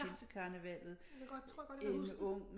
Ja jeg ved godt jeg tror godt at jeg kan huske det